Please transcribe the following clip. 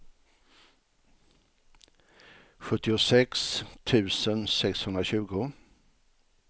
sjuttiosex tusen sexhundratjugo